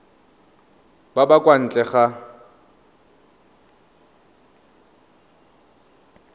ba ba kwa ntle ga